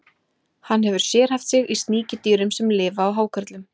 Hann hefur sérhæft sig í sníkjudýrum sem lifa á hákörlum.